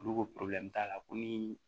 Olu ko t'a la ko ni